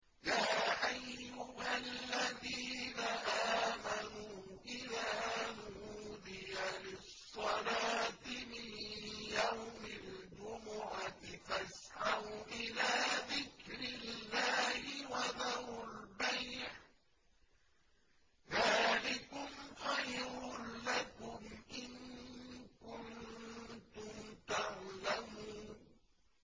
يَا أَيُّهَا الَّذِينَ آمَنُوا إِذَا نُودِيَ لِلصَّلَاةِ مِن يَوْمِ الْجُمُعَةِ فَاسْعَوْا إِلَىٰ ذِكْرِ اللَّهِ وَذَرُوا الْبَيْعَ ۚ ذَٰلِكُمْ خَيْرٌ لَّكُمْ إِن كُنتُمْ تَعْلَمُونَ